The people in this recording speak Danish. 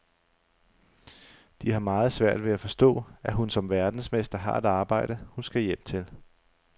De har meget svært ved at forstå, at hun som verdensmester har et arbejde, hun skal hjem til.